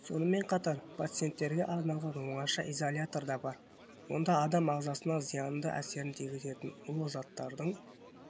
сонымен қатар пациенттерге арналған оңаша изолятор да бар онда адам ағзасына зиянды әсерін тигізетін улы заттардың